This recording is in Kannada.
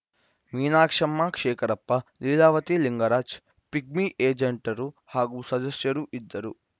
ಮೀನಾಕ್ಷಮ್ಮ ಶೇಖರಪ್ಪ ಲೀಲಾವತಿ ಲಿಂಗರಾಜ್‌ ಪಿಗ್ಮಿ ಏಜೆಂಟ್‌ರು ಹಾಗೂ ಸದಸ್ಯರು ಇದ್ದರು